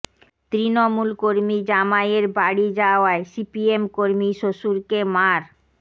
তৃণমূল কর্মী জামাইয়ের বাড়ি যাওয়ায় সিপিএম কর্মী শ্বশুরকে মার